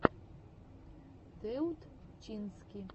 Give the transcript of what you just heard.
теутчински